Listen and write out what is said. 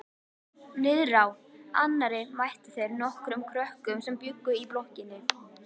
Niðrá annarri mættu þeir nokkrum krökkum sem bjuggu í blokkinni.